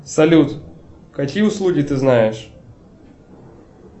салют какие услуги ты знаешь